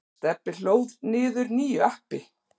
Stebbi hlóð niður nýju appi.